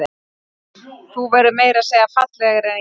Þú verður meira að segja fallegri en ég.